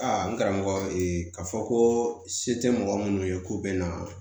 Aa n karamɔgɔ k'a fɔ ko se tɛ mɔgɔ minnu ye k'u bɛ na